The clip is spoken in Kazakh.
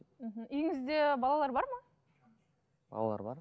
мхм үйіңізде балалар бар ма балалар бар